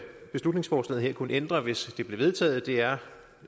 beslutningsforslaget her kunne ændre hvis det blev vedtaget er